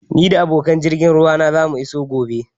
Ni da abokan jirgin ruwa na zamu iso gobe